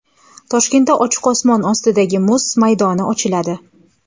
Toshkentda ochiq osmon ostidagi muz maydoni ochiladi.